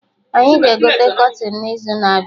Anyị ga-egote kọtịn n'izu na-abịa